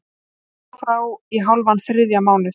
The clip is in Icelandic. Hólmar frá í hálfan þriðja mánuð